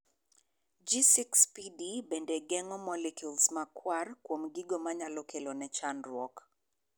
G6PD bende geng'o molecules makwar kuom gigo manyalo kelo ne chandruok.